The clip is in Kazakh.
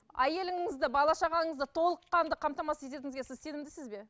әйеліңізді бала шағаңызды толыққанды қамтамасыз ететініңізге сіз сенімдісіз бе